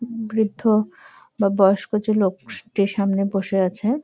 বৃদ্ধ বা বয়স্ক যে লোক স্টেশন -এ বসে আছে--